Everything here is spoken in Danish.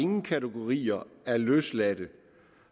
nogle kategorier af løsladte